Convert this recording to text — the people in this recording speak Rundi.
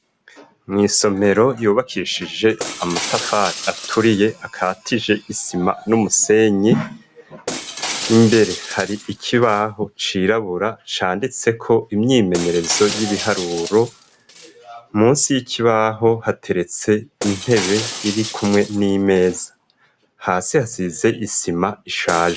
Mw' isomero yubakishije amatafari aturiye akatije isima n'umusenyi, imbere hari ikibaho cirabura canditseko imyimenyerezo y'ibiharuro, munsi y'ikibaho hateretse intebe iri kumwe n'imeza. Hasi hasize isima ishaje.